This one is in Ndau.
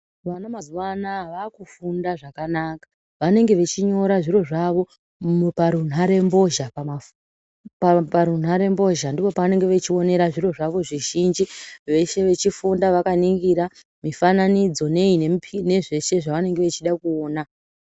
Vana mazuva anaya vakufunda zvakanaka vanenge vachinyore zviro zvavo parunhare mbozha. Pamipi parunhare mbozha ndipo pavanenge vachionera zviro zvavo zvizhinji veshe vachifunda vakaningira mifananidzi nei nezveshe zvavanenge vachida kuona.